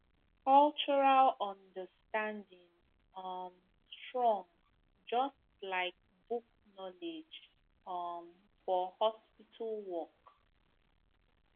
cultural understanding um strong just like book knowledge um for hospital work